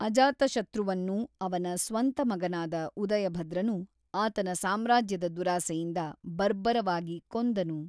ಅಜಾತಶತ್ರುವನ್ನು ಅವನ ಸ್ವಂತ ಮಗನಾದ ಉದಯಭದ್ರನು ಆತನ ಸಾಮ್ರಾಜ್ಯದ ದುರಾಸೆಯಿಂದ ಬರ್ಬರವಾಗಿ ಕೊಂದನು.